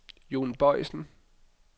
Jon Boisen